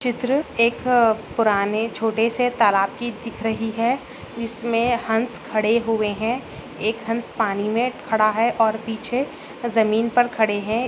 चित्र एक अ पुराने छोटे से तालाब कि दिख रही है जिसमे हंस खड़े हुए हैं एक हंस पानी मे खड़ा है और पीछे जमीन पर खड़े है।